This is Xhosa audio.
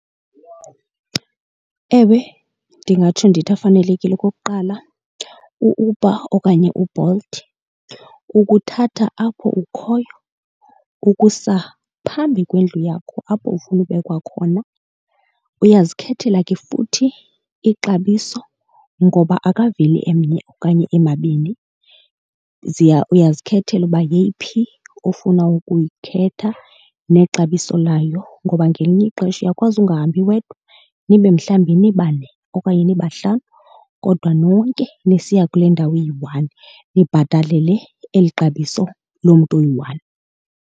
Ewe, ndingatsho ndithi afanelekile. Okokuqala uUber okanye uBolt ukuthatha apho ukhoyo ukusa phambi kwendlu yakho apho ufuna ubekwa khona. Uyazikhethela ke futhi ixabiso ngoba akaveli emnye okanye emabini. uyazikhethela uba yeyiphi ofuna ukuyikhetha nexabiso layo. Ngoba ngelinye ixesha uyakwazi ungahambi wedwa nibe mhlawumbi nibane okanye nibahlanu kodwa nonke nisiya kule ndawo iyi-one nibhatalele le, eli xabiso lomntu oyi-one.